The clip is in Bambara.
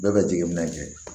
Bɛɛ ka jigin minɛn kɛ